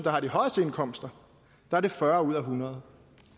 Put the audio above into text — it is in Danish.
har de højeste indkomster er det fyrre ud af hundrede